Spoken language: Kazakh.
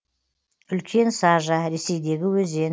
үлкен сажа ресейдегі өзен